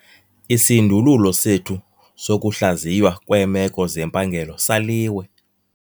Isindululo sethu sokuhlaziywa kweemeko zempangelo saliwe.